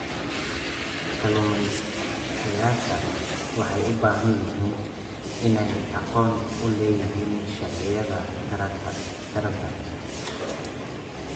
Kalumestayasha waxay u baahan yihiin inay aqoon u leeyihiin sharciyada taranta.